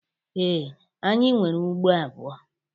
Ee, anyị nwere ugbo abụọ